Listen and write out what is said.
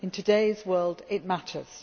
In today's world it matters.